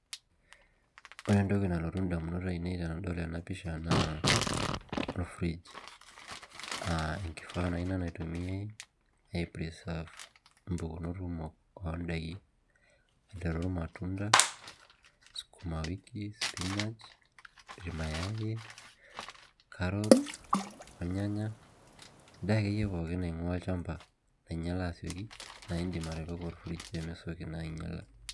Ore entoki nalotu ndamunot ainei tanadol ena pisha na ore or fridge[cs[ naitumiai ai preserve mpukunot kumok ondakini aiteru ir matunda sukumawiki, spinach irmayai, carrots endaa akeyie naingua olchamba nainyala asieki na indim atipika or fridge pemesieki ainyala.